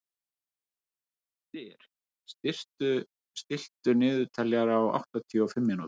Styr, stilltu niðurteljara á áttatíu og fimm mínútur.